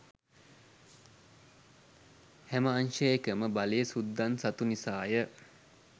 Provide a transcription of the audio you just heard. හැම අංශයකම බලය සුද්දන් සතු නිසාය.